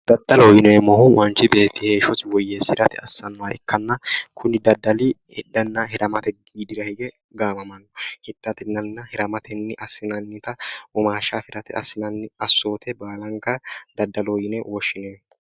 daddaloho yineemmohu manchi beetti heeshshosi woyyeessirate assannoha ikkanna kuni daddali hidhanna hiramate widira hige gaamamanno hidhatenna hiramate assinannita womaashsha afirate assinannita assoote baalanka daddaloho yine woshshinanni.